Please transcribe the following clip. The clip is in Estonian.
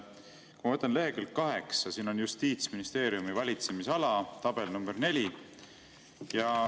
Kui ma võtan lehekülg 8, siin on Justiitsministeeriumi valitsemisala, tabel nr 4.